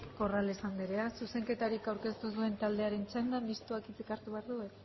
corrales anderea zuzenketarik aurkeztu ez duen taldearen txanda mistoak hitzik hartu behar du